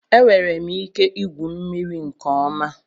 Enwere m ike igwu mmiri nke ọma